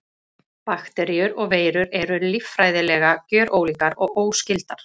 Bakteríur og veirur eru líffræðilega gjörólíkar og óskyldar.